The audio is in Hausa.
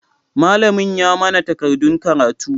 Malamin ya manna takardan karatu.